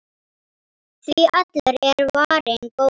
Því allur er varinn góður.